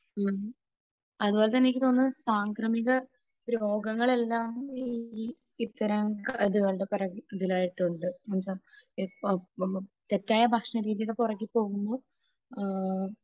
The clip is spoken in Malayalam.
അതുപോലെ തന്നെ എനിക്ക് തോന്നുന്നത് സാംക്രമിക രോഗങ്ങളെല്ലാം ഈ ഇത്തരം ഇത് ഇത് കളുടെ പുറകിൽ ആയിട്ട് ഉണ്ട്. ഇപ്പോ തെറ്റായ ഭക്ഷണ രീതിയുടെ പുറകെ പോകുമ്പോൾ